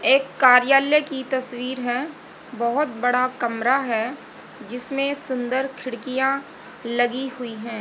एक कार्यालय की तस्वीर है बहोत बड़ा कमरा है जिसमें सुंदर खिड़कियां लगी हुई है।